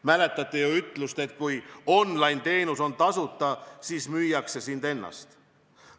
Mäletate ju ütlust, et kui online-teenus on tasuta, siis müüakse sind ennast.